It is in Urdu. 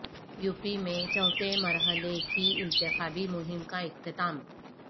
یوپی میں چوتھے مرحلہ کی انتخابی مہم کا اختتام